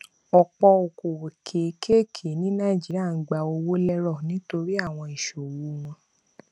ọpọ okòwò kékèké ní nàìjíríà ń gba owó lérò nítorí àwọn ìṣòwò wọn